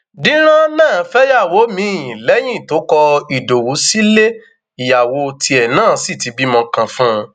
dírán náà fẹyàwó míín lẹyìn tó kọ ìdòwú sílé ìyàwó tiẹ náà sí ti bímọ kan fún un